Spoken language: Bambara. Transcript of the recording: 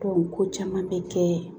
ko caman bɛ kɛ